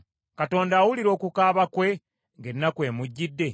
Katonda awulira okukaaba kwe ng’ennaku emujjidde?